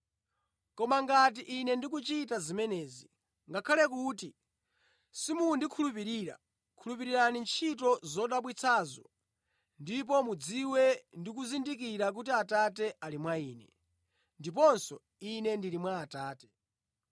Koma ngati Ine ndikuchita zimenezi, ngakhale kuti simundikhulupirira, khulupirirani ntchito zodabwitsazo, ndipo mudziwe ndi kuzindikira kuti Atate ali mwa Ine, ndiponso Ine ndili mwa Atate.”